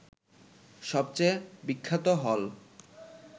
সবচেয়ে বিখ্যাত হল